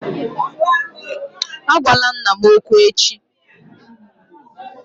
Agwala nna m okwu echi!